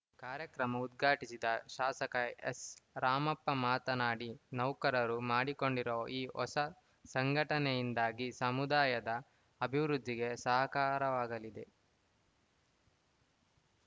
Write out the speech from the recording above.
ಕಾರ್ಯಕ್ರಮ ಉದ್ಘಾಟಿಸಿದ ಶಾಸಕ ಎಸ್‌ರಾಮಪ್ಪ ಮಾತನಾಡಿ ನೌಕರರು ಮಾಡಿಕೊಂಡಿರುವ ಈ ಹೊಸ ಸಂಘಟನೆಯಿಂದಾಗಿ ಸಮುದಾಯದ ಅಭಿವೃದ್ಧಿಗೆ ಸಹಕಾರವಾಗಲಿದೆ